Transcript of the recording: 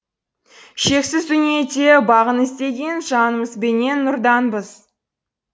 шексіз дүниеде бағын іздеген жанымызбенен нұрданбыз